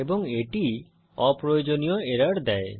এবং এটি অপ্রয়োজনীয় এরর দেয়